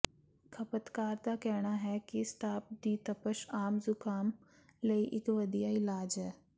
ਖਪਤਕਾਰ ਦਾ ਕਹਿਣਾ ਹੈ ਕਿ ਸਟਾਪ ਦੀ ਤਪਸ਼ ਆਮ ਜ਼ੁਕਾਮ ਲਈ ਇਕ ਵਧੀਆ ਇਲਾਜ ਹੈ